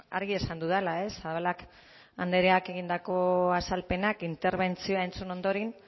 argi esan dudala ez zabalak andreak egindako azalpenak interbentzioa entzun ondoren